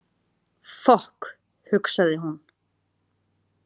Fokk, hugsaði hún.